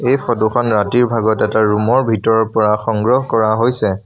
এই ফটো খন ৰাতিৰ ভাগত এটা ৰুম ৰ ভিতৰৰ পৰা সংগ্ৰহ কৰা হৈছে।